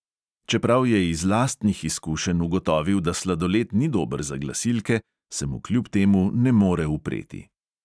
Čeprav je iz lastnih izkušenj ugotovil, da sladoled ni dober za glasilke, se mu kljub temu ne more upreti.